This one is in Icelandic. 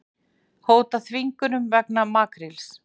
Hóta þvingunum vegna makríls